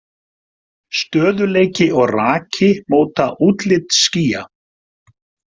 Stöðugleiki og raki móta útlit skýja.